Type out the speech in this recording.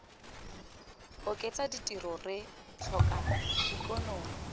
oketsa ditiro re tlhoka ikonomi